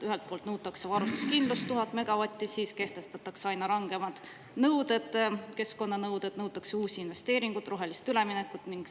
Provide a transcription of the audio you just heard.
Ühelt poolt nõutakse varustuskindlust 1000 megavati ulatuses, kehtestatakse aina rangemad keskkonnanõuded, nõutakse uusi investeeringuid, rohelisele üleminekut.